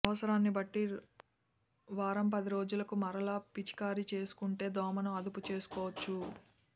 అవసరాన్ని బట్టి వారం పది రోజులకు మరలా పిచికారీ చేసుకుంటే దోమను అదుపు చేసుకోవచ్చు